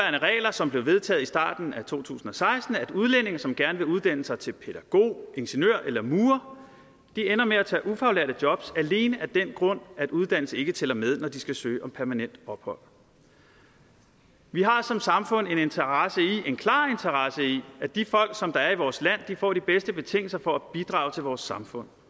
som blev vedtaget i starten af to tusind og seksten at udlændinge som gerne vil uddanne sig til pædagog ingeniør eller murer ender med at tage ufaglærte jobs alene af den grund at uddannelse ikke tæller med når de skal søge om permanent ophold vi har som samfund en klar interesse i at de folk som der er i vores land får de bedste betingelser for at bidrage til vores samfund